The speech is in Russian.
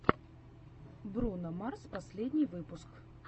бруно марс последний выпуск